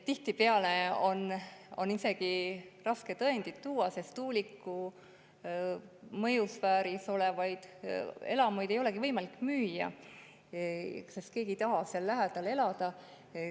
Tihtipeale on raske tõendeid tuua, sest tuuliku mõjusfääris olevaid elamuid ei olegi võimalik müüa, keegi ei taha seal lähedal elada.